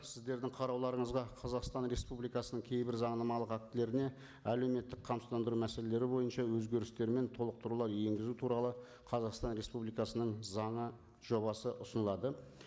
сіздердің қарауларыңызға қазақстан республикасының кейбір заңнамалық актілеріне әлеуметтік қамсыздандыру мәселелері бойынша өзгерістер мен толықтырулар енгізу туралы қазақстан республикасының заңы жобасы ұсынылады